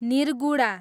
निर्गुडा